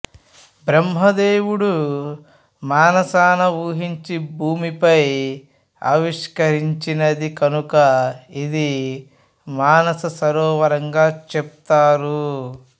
బ్రహ్మ దేవుడు మానసాన ఊహించి భూమిపై ఆవిష్కరించినది కనుక ఇది మానస సరోవరంగా చెపుతారు